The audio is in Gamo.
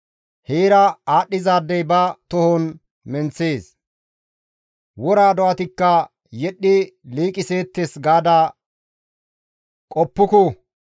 ‹Heera aadhdhizaadey ba tohon menththees; wora do7atikka yedhdhi liiqiseettes› gaada qoppuku.